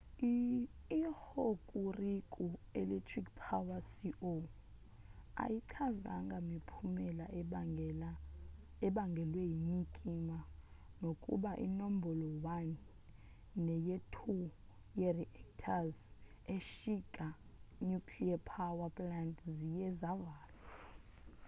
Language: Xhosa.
i-hokuriku electric power co ayichazanga miphumela ebangelwe yinyikima nokuba inombolo-1 neye-2 ye-reactors eshika nuclearpower plant ziye zavalwa